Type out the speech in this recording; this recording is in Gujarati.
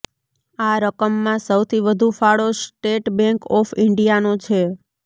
આ રકમમાં સૌથી વધુ ફાળો સ્ટેટ બેંક ઓફ ઇન્ડીયાનો છે